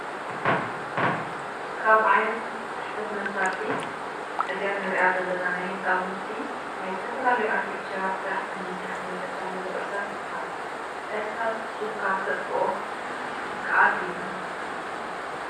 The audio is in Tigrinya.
ካብ ዓይነታት ፀሕፈት መሳሪሒ እዚ እንሪኣ ዘለና ናይ ህፃውን ናይ ዝተፈላለዩ ኣርቴክቸራት ስራሕቲ ንምስራሕ እንጥቀመሎም እርሳስ ይበሃል። እርሳር ፅሒፍካ ክተጥፈኦ ይካኣል እዩ።